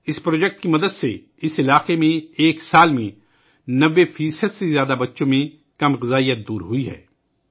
اس منصوبے کی مدد سے اس خطے میں ایک سال میں 90 فیصد سے زیادہ بچوں میں تغذیہ کی کمی دور ہوئی ہے